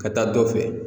Ka taa dɔ fɛ